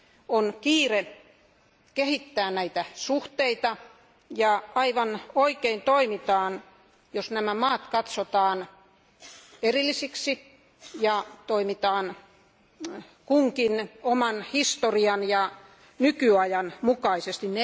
On kiire kehittää näitä suhteita, ja toimitaan aivan oikein, jos nämä maat katsotaan erillisiksi ja toimitaan kunkin oman historian ja nykytilanteen mukaisesti.